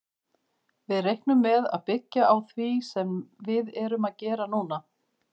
Við reiknum með að byggja á því sem við erum að gera núna.